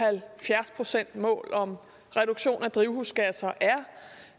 halvfjerds procentsmål om reduktion af drivhusgasser